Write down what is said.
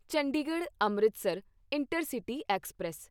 Chandigarh Amritsar intercity express